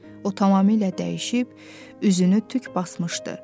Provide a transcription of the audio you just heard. O tamamilə dəyişib, üzünü tük basmışdı.